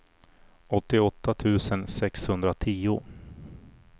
åttioåtta tusen sexhundratio